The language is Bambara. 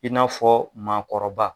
I n'afɔ maagɔkɔrɔba.